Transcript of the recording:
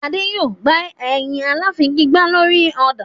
Adé yòó gba ẹyin aláfigigbá lórí ọ̀dàn.